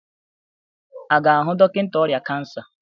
A ga-ahụ dọkịta ọrịa kansa?